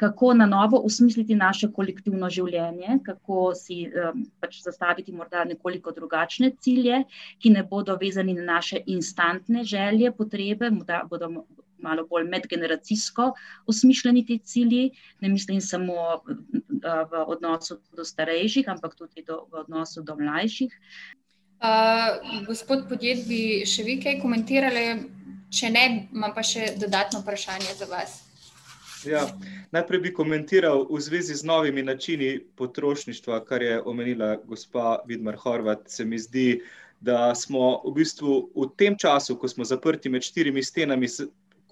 kako na novo osmisliti naše kolektivno življenje, kako si, pač zastaviti morda nekoliko drugačne cilje, ki ne bodo vezani na naše instantne želje, potrebe, morda bodo malo bolj medgeneracijsko osmišljeni ti cilji, ne mislim samo v odnosu do starejših, ampak tudi do, v odnosu do mlajših. gospod Podjed, bi še vi kaj komentirali, če ne, imam pa še dodatno vprašanje za vas. Ja, najprej bi komentiral v zvezi z novimi načini potrošništva, kar je omenila gospa Vidmar Horvat. Se mi zdi, da smo v bistvu v tem času, ko smo zaprti med štirimi stenami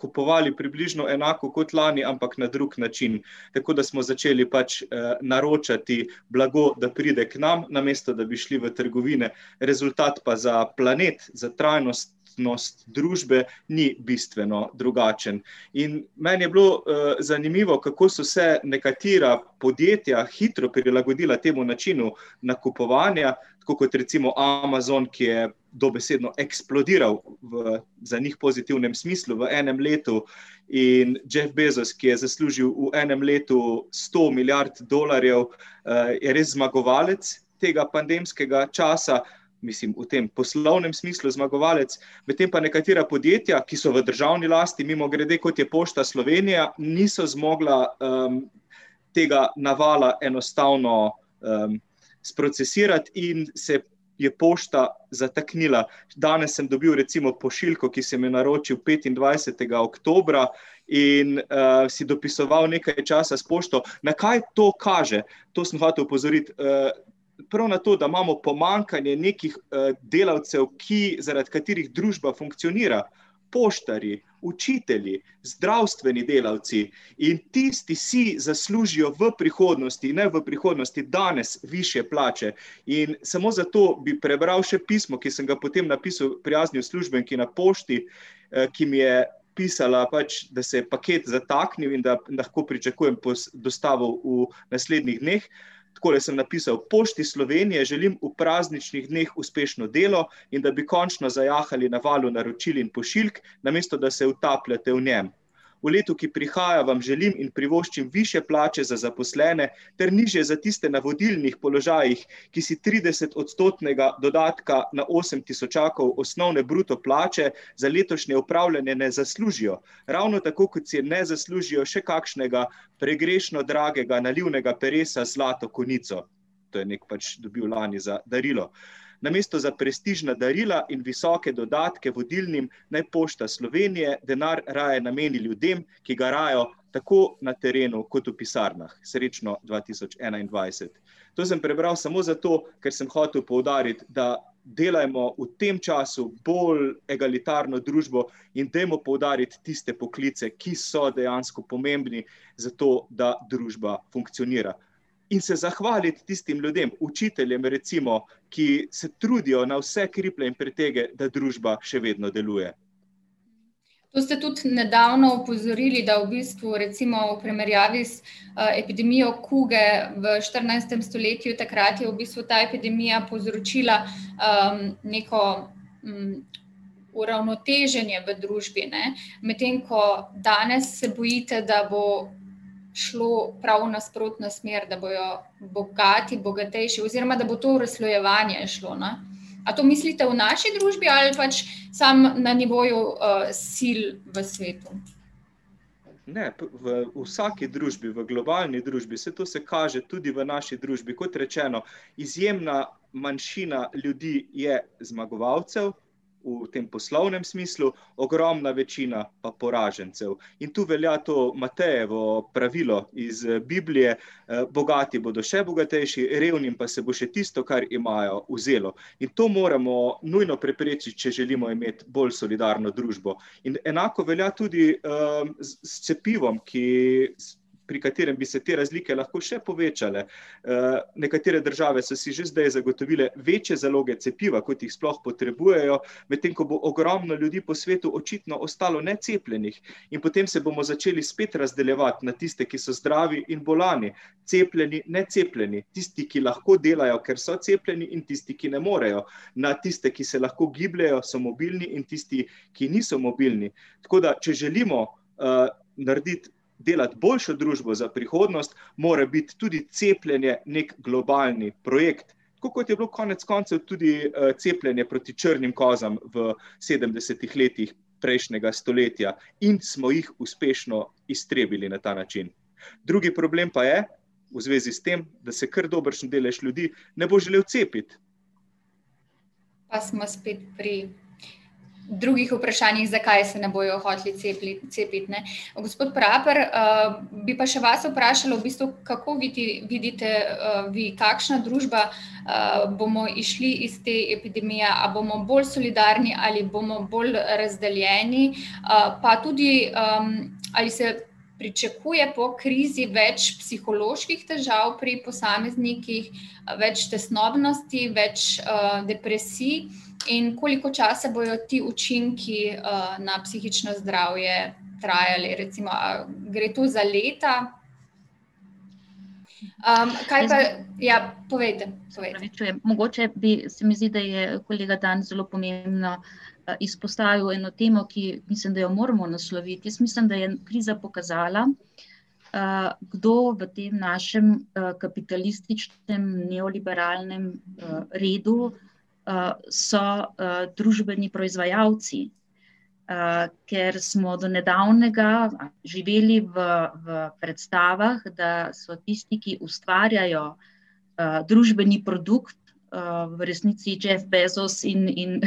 kupovali približno enako kot lani, ampak na drug način. Tako da smo začeli pač, naročati blago, da pride k nam, namesto da bi šli v trgovine. Rezultat pa za planet, za trajnostnost družbe ni bistveno drugačen. In meni je bilo, zanimivo, kako so se nekatera podjetja hitro prilagodila temu načinu nakupovanja, tako kot recimo Amazon, ki je dobesedno eksplodiral v za njih pozitivnem smislu v enem letu. In Jeff Bezos, ki je zaslužil v enem letu sto milijard dolarjev, je res zmagovalec tega pandemskega časa. Mislim, v tem poslovnem smislu zmagovalec. Medtem pa nekatera podjetja, ki so v državni lasti, mimogrede, kot je Pošta Slovenije, niso zmogla, tega navala enostavno, sprocesirati, in se je pošta zataknila. Danes sem dobil recimo pošiljko, ki sem jo naročil petindvajsetega oktobra, in, si dopisoval nekaj časa s pošto. Na kaj to kaže? To sem hotel opozoriti, prav na to, da imamo pomanjkanje nekih, delavcev, ki, zaradi katerih družba funkcionira. Poštarji, učitelji, zdravstveni delavci ... In tisti si zaslužijo v prihodnosti, ne v prihodnosti, danes, višje plače. In samo zato bi prebral še pismo, ki sem ga potem napisal prijazni uslužbenki na pošti, ki mi je pisala pač, da se je paket zataknil in da lahko pričakujem dostavo v naslednjih dneh. Takole sem napisal: "Pošti Slovenije želim v prazničnih dneh uspešno delo in da bi končno zajahali na valu naročil in pošiljk, namesto da se utapljate v njem. V letu, ki prihaja, vam želim in privoščim višje plače za zaposlene ter nižje za tiste na vodilnih položajih, ki si tridesetodstotnega dodatka na osem tisočakov osnovne bruto plače za letošnje upravljanje ne zaslužijo. Ravno tako, kot si je ne zaslužijo še kakšnega pregrešno dragega nalivnega peresa z zlato konico." To je neki pač dobil lani za darilo. "Namesto za prestižna darila in visoke dodatke vodilnim naj Pošta Slovenije denar raje nameni ljudem, ki garajo, tako na terenu kot v pisarnah. Srečno dva tisoč enaindvajset." To sem prebral samo zato, ker sem hotel poudariti, da delajmo v tem času bolj egalitarno družbo in dajmo poudariti tiste poklice, ki so dejansko pomembni za to, da družba funkcionira. In se zahvaliti tistim ljudem, učiteljem, recimo, ki se trudijo na vse kriplje in pretege, da družba še vedno deluje. To ste tudi nedavno opozorili, da v bistvu recimo v primerjavi z, epidemijo kuge v štirinajstem stoletju, takrat je v bistvu ta epidemija povzročila, neko, uravnoteženje v družbi, ne. Medtem ko danes se bojite, da bo šlo prav v nasprotno smer, da bojo bogati, bogatejši ... Oziroma da bo to razslojevanje šlo, no. A to mislite v naši družbi ali pač samo na nivoju, sil v svetu? Ne, to v vsaki družbi, v globalni družbi, saj to se kaže tudi v naši družbi, kot rečeno, izjemna manjšina ljudi je zmagovalcev v tem poslovnem smislu, ogromna večina pa poražencev. In to velja to Matejevo pravilo iz Biblije: bogati bodo še bogatejši, revnim pa se bo še tisto, kar imajo, vzelo. In to moramo nujno preprečiti, če želimo imeti bolj solidarno družbo. In enako velja tudi, s cepivom, ki, pri katerem bi se te razlike lahko še povečale. nekatere države so si že zdaj zagotovile večje zaloge cepiva, kot jih sploh potrebujejo, medtem ko bo ogromno ljudi po svetu očitno ostalo necepljenih. In potem se bomo začeli spet razdeljevati na tiste, ki so zdravi in bolni, cepljeni, necepljeni, tisti, ki lahko delajo, ker so cepljeni, in tisti, ki ne morejo. Na tiste, ki se lahko gibljejo, so mobilni, in tisti, ki niso mobilni. Tako da če želimo, narediti, delati boljšo družbo za prihodnost, mora biti tudi cepljenje neki globalni projekt. Tako kot je bilo konec koncev tudi, cepljenje proti črnim kozam v sedemdesetih letih prejšnjega stoletja in smo jih uspešno iztrebili na ta način. Drugi problem pa je, v zvezi s tem, da se kar dobršen delež ljudi ne bo želel cepiti. Pa smo spet pri drugih vprašanjih, zakaj se ne bojo hoteli cepiti, ne. Gospod Praper, bi pa še vas vprašala, v bistvu kako vi potem vidite, vi, kakšna družba bomo izšli iz te epidemije, a bomo bolj solidarni ali bomo bolj razdeljeni? pa tudi, ali se pričakuje po krizi več psiholoških težav pri posameznikih, več tesnobnosti, več depresij in koliko časa bojo ti učinki, na psihično zdravje trajali, recimo a gre to za leta? kaj pa ... Ja, povejte. Se opravičujem, mogoče bi, se mi zdi, da je kolega Dan zelo pomembno, izpostavil eno temo, ki, mislim, da jo moramo nasloviti. Jaz mislim, da je kriza pokazala, kdo v tem našem, kapitalističnem neoliberalnem, redu, so, družbeni proizvajalci. ker smo do nedavnega živeli v, v predstavah, da so tisti, ki ustvarjajo, družbeni produkt, v resnici Jeff Bezos in, in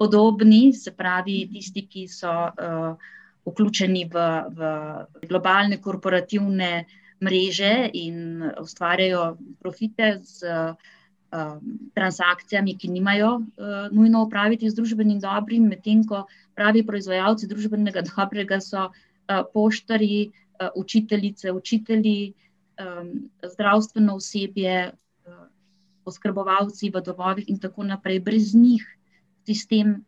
podobni, se pravi, tisti, ki so, vključeni v, v globalne korporativne mreže in ustvarjajo profite s, transakcijami, ki nimajo, nujno opraviti z družbenim dobrim, medtem ko pravi proizvajalci družbenega dobrega so, poštarji, učiteljice, učitelji, zdravstveno osebje, oskrbovalci v domovih in tako naprej. Brez njih sistem,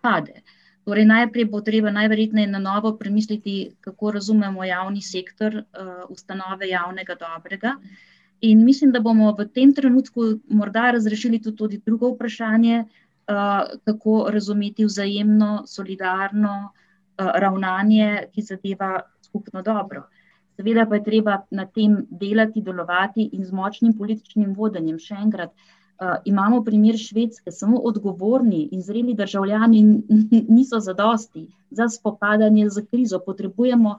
pade. Torej najprej bo treba najverjetneje na novo premisliti, kako razumemo javni sektor, ustanove javnega dobrega. In mislim, da bomo v tem trenutku morda razrešili tudi to drugo vprašanje, kako razumeti vzajemno, solidarno, ravnanje, ki zadeva skupno dobro. Seveda pa je treba na tem delati, delovati in z močnim političnim vodenjem, še enkrat. imamo primer Švedske, samo odgovorni in zreli državljani niso zadosti za spopadanje s krizo. Potrebujemo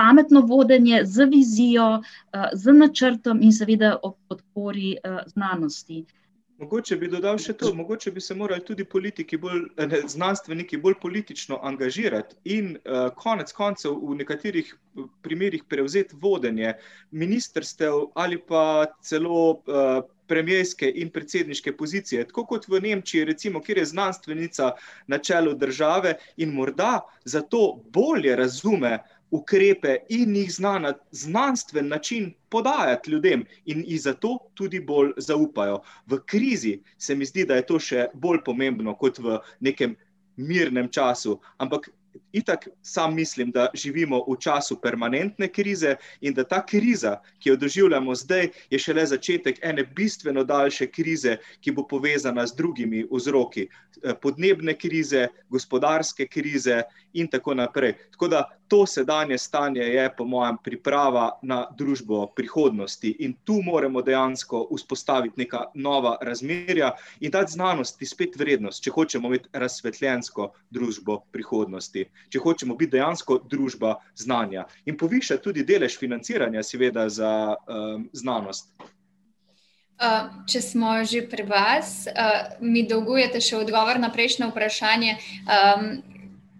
pametno vodenje z vizijo, z načrtom in seveda ob podpori, znanosti. Mogoče bi dodal še to, mogoče bi se morali tudi politiki bolj, ne, znanstveniki bolj politično angažirati in, konec koncev v nekaterih primerih prevzeti vodenje ministrstev ali pa celo, premierske in predsedniške pozicije. Tako kot v Nemčiji recimo, kjer je znanstvenica na čelu države, in morda zato bolje razume ukrepe in jih zna na znanstven način podajati ljudem in ji zato tudi bolj zaupajo. V krizi, se mi zdi, da je to še bolj pomembno kot v nekem mirnem času. Ampak itak samo mislim, da živimo v času permanentne krize in da ta kriza, ki jo doživljamo zdaj, je šele začetek ene bistveno daljše krize, ki bo povezana z drugimi vzroki. podnebne krize, gospodarske krize in tako naprej. Tako da to sedanje stanje je po mojem priprava na družbo prihodnosti. In to moramo dejansko vzpostaviti neka nova razmerja in dati znanosti spet vrednost, če hočemo imeti razsvetljensko družbo prihodnosti. Če hočemo biti dejansko družba znanja. In povišati tudi delež financiranja, seveda, za, znanost. če smo že pri vas, mi dolgujete še odgovor na prejšnje vprašanje.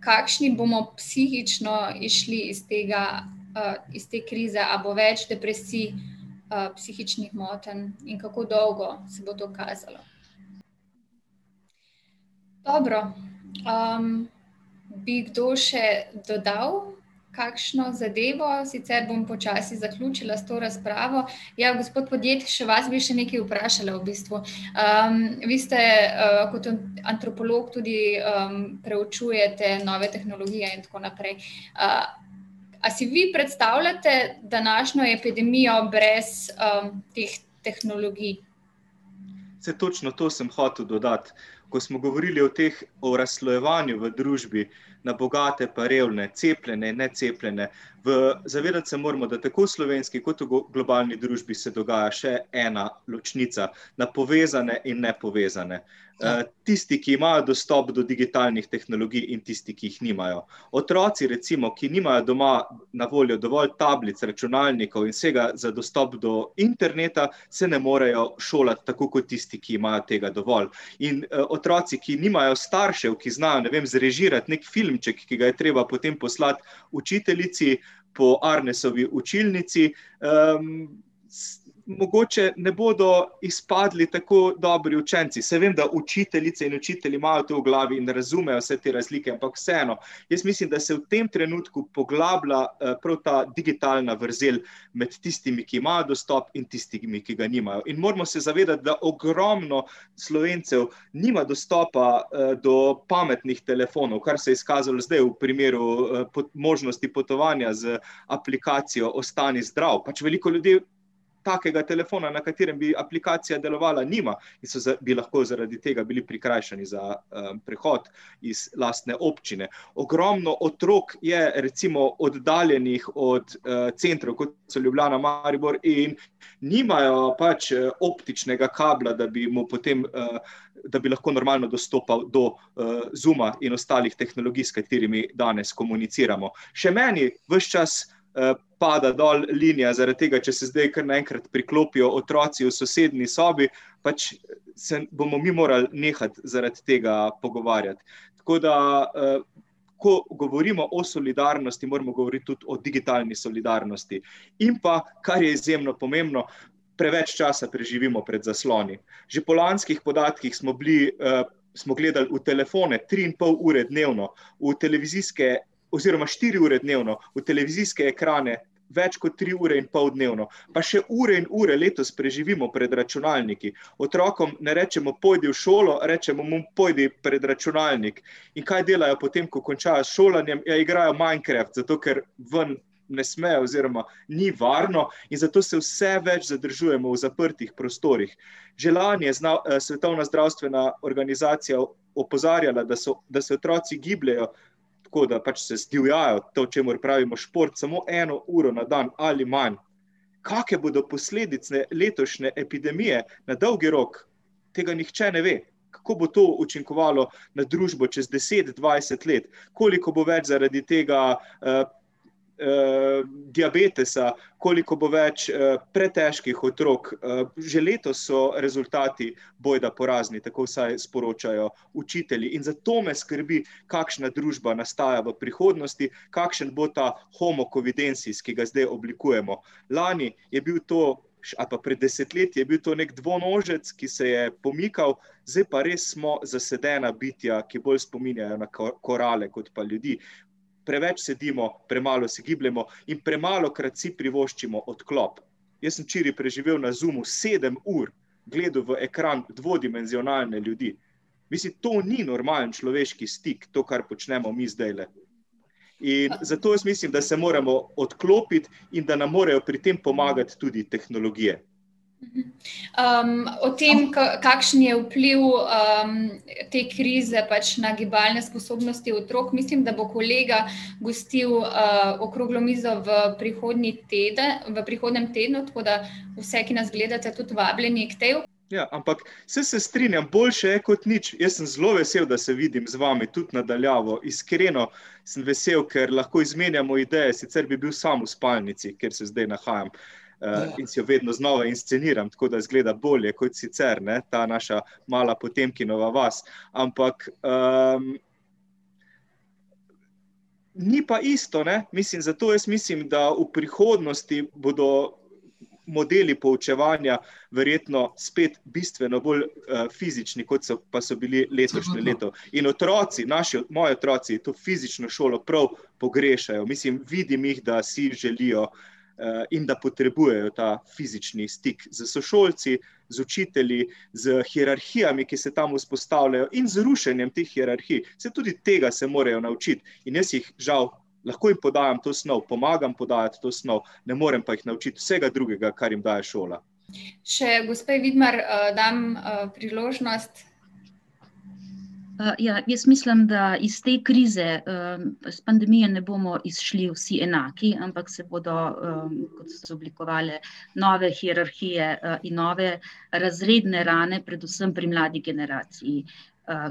kakšni bomo psihično izšli iz tega, iz te krize, a bo več depresij, psihičnih motenj? In kako dolgo se bo to kazalo? Dobro. bi kdo še dodal kakšno zadevo, sicer bom počasi zaključila s to razpravo. Ja, gospod Podjed, še vas bi še nekaj vprašala v bistvu. vi ste, kot antropolog tudi, preučujete nove tehnologije in tako naprej ... a si vi predstavljate današnjo epidemijo brez, teh tehnologij? Saj točno to sem hotel dodati. Ko smo govorili o teh, o razslojevanju v družbi na bogate pa revne, cepljene, necepljene, v ... Se moramo zavedati, da tako v slovenski kot v globalni družbi se dogaja še ena ločnica: na povezane in nepovezane. tisti, ki imajo dostop do digitalnih tehnologij, in tisti, ki jih nimajo. Otroci, recimo, ki nimajo doma na voljo dovolj tablic, računalnikov in vsega za dostop do interneta, se ne morejo šolati tako kot tisti, ki imajo tega dovolj. In, otroci, ki nimajo staršev, ki znajo, ne vem zrežirati neki filmček, ki ga je treba potem poslati učiteljici po Arnesovi učilnici, mogoče ne bodo izpadli tako dobri učenci, saj vem, da učiteljice in učitelji imajo to v glavi in razumejo vse te razlike, ampak vseeno. Jaz mislim, da se v tem trenutku poglablja, prav ta digitalna vrzel med tistimi, ki imajo dostop, in tistimi, ki ga nimajo. In moramo se zavedati, da ogromno Slovencev nima dostopa, do pametnih telefonov, kar se je izkazalo zdaj v primeru, pod možnosti potovanja z aplikacijo Ostani zdrav. Pač veliko ljudi takega telefona, na katerem bi aplikacija delovala, nima. So bi lahko zaradi tega bili prikrajšani za, prehod iz lastne občine. Ogromno otrok je recimo oddaljenih od, centrov, kot so Ljubljana, Maribor, in nimajo pač optičnega kabla, da bi mu potem, da bi lahko normalno dostopal do, Zooma in ostalih tehnologij, s katerimi danes komuniciramo. Še meni ves čas, pada dol linija zaradi tega, če se zdaj kar naenkrat priklopijo otroci v sosednji sobi, pač se bomo mi morali nehati zaradi tega pogovarjati. Tako da, ko govorimo o solidarnosti, moramo govoriti tudi o digitalni solidarnosti. In pa, kar je izjemno pomembno, preveč časa preživimo pred zasloni. Že po lanskih podatkih smo bili, smo gledali v telefone tri in pol ure dnevno. V televizijske ... Oziroma štiri ure dnevno, v televizijske ekrane več kot tri ure in pol dnevno. Pa še ure in ure letos preživimo pred računalniki. Otrokom ne rečemo: "Pojdi v šolo," rečemo mu: "Pojdi pred računalnik." In kaj delajo potem, ko končajo s šolanjem? Ja, igrajo Minecraft, zato ker ven ne smejo oziroma ni varno, in zato se vse več zadržujemo v zaprtih prostorih. Že lani je Svetovna zdravstvena organizacija opozarjala, da so, da se otroci gibljejo, tako da, pač, se zdivjajo, to, čemur pravimo šport, samo eno uro na dan ali manj. Kakšne bodo posledice letošnje epidemije na dolgi rok? Tega nihče ne ve. Kako bo to učinkovalo na družbo čez deset, dvajset let? Koliko bo več zaradi tega, diabetesa, koliko bo več, pretežkih otrok, že letos so rezultati bojda porazni, tako vsaj sporočajo učitelji. In zato me skrbi, kakšna družba nastaja v prihodnosti, kakšen bo ta homo covidensis, ki ga zdaj oblikujemo. Lani je bil to ali pa pred desetletji, je bil to neki dvonožec, ki se je pomikal, zdaj pa res smo zasedena bitja, ki bolj spominjajo na korale kot pa ljudi. Preveč sedimo, premalo se gibljemo in premalokrat si privoščimo odklop. Jaz sem včeraj preživel na Zoomu sedem ur, gledal v ekran dvodimenzionalne ljudi. Mislim to ni normalen človeški stik, to, kar počnemo mi zdajle. In zato jaz mislim, da se moramo odklopiti in da nam morajo pri tem pomagati tudi tehnologije. o tem, kakšen je vpliv, te krize pač na gibalne sposobnosti otrok, mislim, da bo kolega gostil, okroglo mizo v ... prihodnji teden, v prihodnjem tednu, tako da vse, ki nas gledate, tudi vabljeni k tej. Ja, ampak saj se strinjam, boljše je kot nič, jaz sem zelo vesel, da se vidim z vami, tudi na daljavo, iskreno, sem vesel, ker lahko izmenjamo ideje, sicer bi bil sam v spalnici, kjer se zdaj nahajam. in si jo vedno znova insceniram, tako da izgleda bolje kot sicer, ne, ta naša mala Potemkinova vas. Ampak, ... Ni pa isto, ne? Mislim, zato jaz mislim, da v prihodnosti bodo modeli poučevanja verjetno spet bistveno bolj, fizični, kot so, pa so bili pa letošnje leto. In otroci, naši, moji otroci to fizično šolo prav pogrešajo, mislim, vidim jih, da si želijo, in da potrebujejo ta fizični stik s sošolci, z učitelji, s hierarhijami, ki se tam vzpostavljajo, in z rušenjem teh hierarhij. Saj tudi tega se morajo naučiti. In jaz jih žal ... Lahko jim podajam to snov, pomagam podajati to snov, ne morem pa jih naučiti vsega drugega, kar jim daje šola. Še gospe Vidmar, dam, priložnost ... ja, jaz mislim, da iz te krize, iz pandemije ne bomo izšli vsi enaki, ampak se bodo, izoblikovale nove hierarhije, in nove razredne rane predvsem pri mladi generaciji,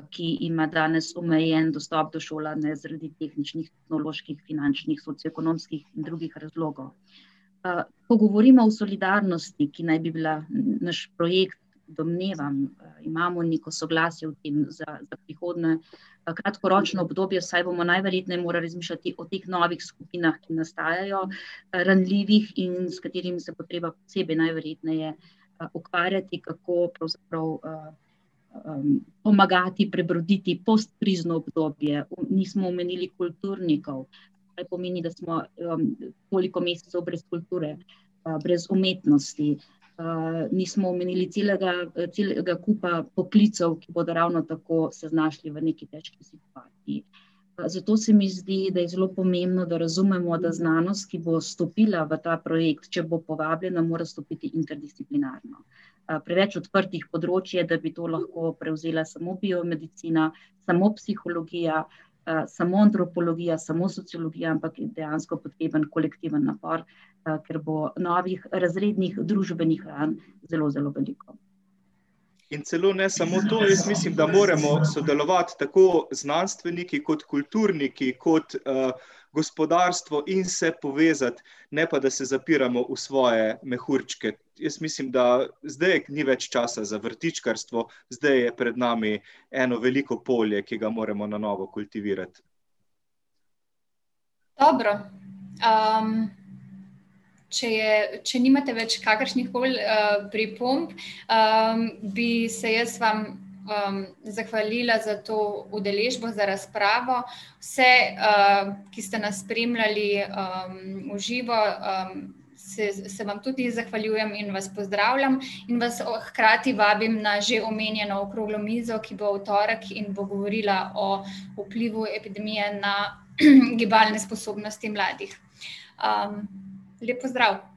ki ima danes omejen dostop do šolanja zaradi tehničnih, etnoloških, finančnih, socioekonomskih in drugih razlogov. ko govorimo o solidarnosti, ki naj bi bila naš projekt, domnevam, imamo neko soglasje v tem, za, da prihodnje kratkoročno obdobje, saj bomo najverjetneje morali razmišljati o teh novih skupinah, ki nastajajo, ranljivih in s katerimi se bo treba posebej najverjetneje, ukvarjati, kako pravzaprav, pomagati, prebroditi postkrizno obdobje. Nismo omenili kulturnikov, kaj pomeni, da smo, toliko mesecev brez kulture, brez umetnosti. nismo omenili celega, celega kupa poklicev, ki bodo ravno tako se znašli v nekaj . zato se mi zdi, da je zelo pomembno, da razumemo, da znanost, ki bo vstopila v ta projekt, če bo povabljena, mora vstopiti interdisciplinarno. preveč odprtih področij je, da bi to lahko prevzela samo biomedicina, samo psihologija, samo antropologija, samo sociologija, ampak je dejansko potreben kolektiven napor, ker bo novih razrednih družbenih, zelo zelo veliko. In celo ne samo to, jaz mislim, da moramo sodelovati tako znanstveniki kot kulturniki, kot, gospodarstvo, in se povezati. Ne pa da se zapiramo v svoje mehurčke. Jaz mislim, da zdaj ni več časa za vrtičkarstvo, zdaj je pred nami eno veliko polje, ki ga moramo na novo kultivirati. Dobro, če je, če nimate več kakršnihkoli, pripomb, bi se jaz vam, zahvalila za to udeležbo, za razpravo. Vse, ki ste nas spremljali, v živo, se, se vam tudi zahvaljujem in vas pozdravljam in vas hkrati vabim na že omenjeno okroglo mizo, ki bo v torek in bo govorila o vplivu epidemije na, gibalne sposobnosti mladih. lep pozdrav.